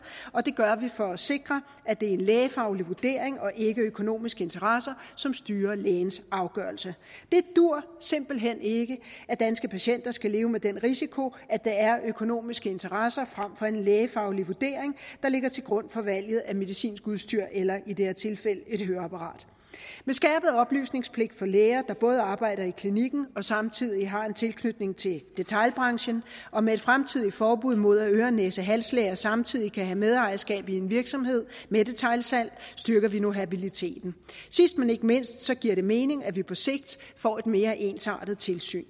og det gør vi for at sikre at det er en lægefaglig vurdering og ikke økonomiske interesser som styrer lægens afgørelse det duer simpelt hen ikke at danske patienter skal leve med den risiko at det er økonomiske interesser frem for en lægefaglig vurdering der ligger til grund for valget af medicinsk udstyr eller i det her tilfælde et høreapparat med skærpet oplysningspligt for læger der både arbejder i klinikken og samtidig har en tilknytning til detailbranchen og med et fremtidigt forbud mod at øre næse og halslæger samtidig kan have medejerskab af en virksomhed med detailsalg styrker vi nu habiliteten sidst men ikke mindst giver det mening at vi på sigt får et mere ensartet tilsyn